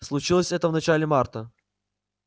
случилось это в начале марта